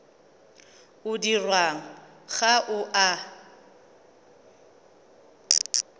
o dirwang ga o a